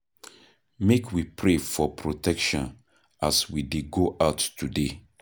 Make we pray for protection as we dey go out today.